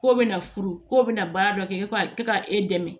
K'o bɛna furu k'o bɛna baara dɔ kɛ ka e dɛmɛ